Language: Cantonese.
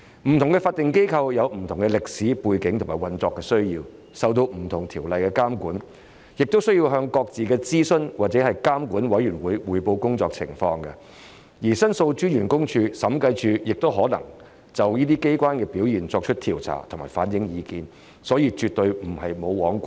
不同法定機構有不同的歷史背景和運作需要，受不同條例監管，亦須向各自的諮詢或監管委員會匯報工作情況，而申訴專員公署和審計署亦可就這些機構的表現作出調查及反映意見，所以絕對並非"無皇管"。